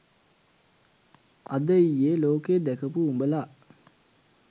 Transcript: අද ඊයේ ලෝකේ දැකපු උඹල